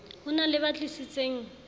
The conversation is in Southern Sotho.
ho na le ba tlisitseng